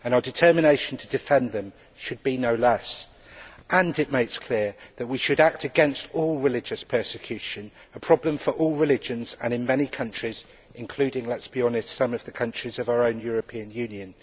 Our determination to defend them should be no less. It also makes clear that we should act against all religious persecution, which is a problem for all religions and in many countries including let us be honest some of the countries of our own European Union.